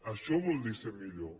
això vol dir ser millor